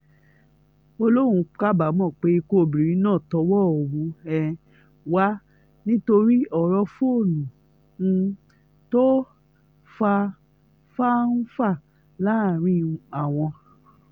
ó lóun kábàámọ̀ pé ikú obìnrin náà tọwọ́ òun um wà nítorí ọ̀rọ̀ fóònù um tó fa fá-ń-fà láàrin àwọn